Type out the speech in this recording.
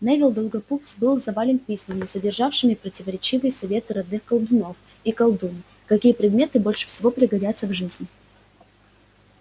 невилл долгопупс был завален письмами содержавшими противоречивые советы родных колдунов и колдуний какие предметы больше всего пригодятся в жизни